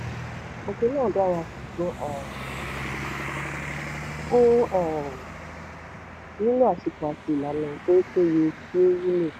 um òfin náà dára ṣùgbọ́n um ó um nílò àsìkò àti ìlànà tó peye kí ó wúlò.